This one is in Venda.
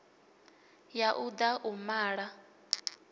ya u da u mala